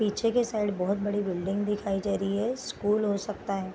पीछे की साइड बहुत बड़ी बिल्डिंग दिखाई जा रही है स्कूल हो सकता है।